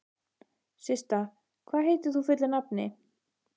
Systa, hvað heitir þú fullu nafni?